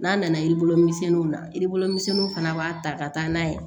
N'a nana yiribulu misɛnninw na yiri bolo misɛnniw fana b'a ta ka taa n'a ye